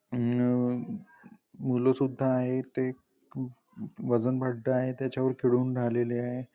ह्म्म्म मुलं सुद्धा आहेत ते वजन पट्टा आहे त्याच्यावर खेळून राहिलेले आहे.